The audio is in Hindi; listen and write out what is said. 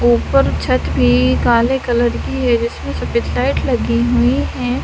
उपर छत भी काले कलर की है जिसमे सफेद लाइट लगी हुई हैं।